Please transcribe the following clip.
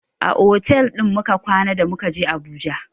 A otal muka kwana da muka je fak ɗin Abuja.